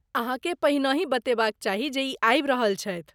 अहाँकेँ पहिनहि बतेबाक चाही जे ई आबि रहल छथि।